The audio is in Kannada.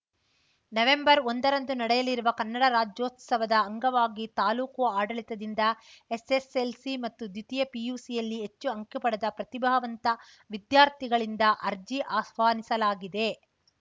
ನವೆಂಬರ್‌ ಒಂದರಂದು ನಡೆಯಲಿರುವ ಕನ್ನಡ ರಾಜ್ಯೋತ್ಸವದ ಅಂಗವಾಗಿ ತಾಲೂಕು ಆಡಳಿತದಿಂದ ಎಸ್‌ಎಸ್‌ಎಲ್‌ಸಿ ಮತ್ತು ದ್ವಿತೀಯ ಪಿಯುಸಿಯಲ್ಲಿ ಹೆಚ್ಚು ಅಂಕ ಪಡೆದ ಪ್ರತಿಭಾವಂತ ವಿದ್ಯಾರ್ಥಿಗಳಿಂದ ಅರ್ಜಿ ಅಸ್ವಾನಿಸಲಾಗಿದೆ